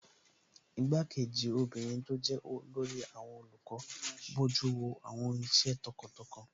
Igbá-kejì obìnrin tó jẹ́ olórí àwọn olùkọ́ bojú wo àwọn iṣẹ́ tọkàntọkàn